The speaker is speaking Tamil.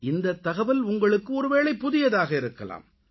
இந்தத் தகவல் உங்களுக்கு ஒருவேளை புதியதாக இருக்கலாம்